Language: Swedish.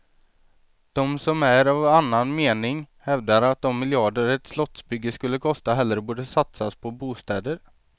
De som är av annan mening hävdar, att de miljarder ett slottsbygge skulle kosta hellre borde satsas på bostäder.